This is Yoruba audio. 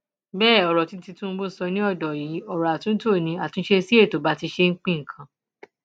bẹẹ ọrọ tí tìtúnbù sọ ni ọdọ yìí ọrọ àtúntò ní àtúnṣe sí ètò bí a ṣe ń pín nǹkan